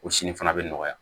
O sini fana bɛ nɔgɔya